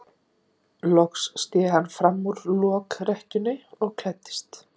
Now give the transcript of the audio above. Loks sté hann fram úr lokrekkjunni og klæddist.